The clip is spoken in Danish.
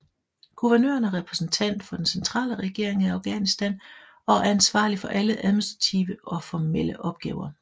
Guvernøren er repræsentent for den centrale regering i Afghanistan og er ansvarlig for alle administrative og formelle opgaver